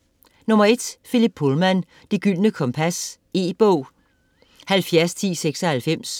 Pullman, Philip: Det gyldne kompas E-bog 701096